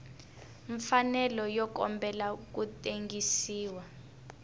mfanelo yo kombela ku tengisiwa